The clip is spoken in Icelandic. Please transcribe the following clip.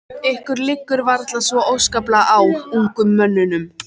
Ykkur liggur varla svo óskaplega á, ungum mönnunum.